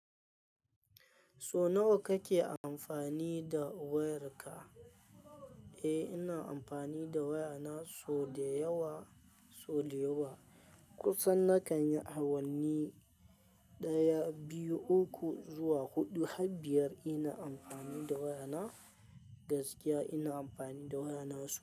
So nawa kake amfani da wayarka? Eh, ina amfani da wayana so da yawa, so da yawa. Kusan nakan yi awanni ɗaya, biyu, uku zuwa huɗu har biyar ina amfani da wayana gaskiya ina amfani da wayana so.